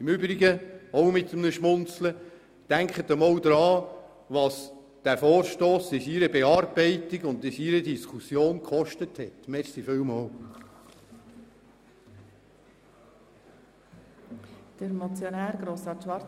Im Übrigen – auch mit einem Schmunzeln: Denken Sie einmal daran, was die Bearbeitung und Diskussion dieses Vorstosses gekostet hat.